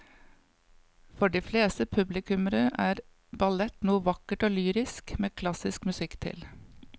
For de fleste publikummere er ballett noe vakkert og lyrisk med klassisk musikk til.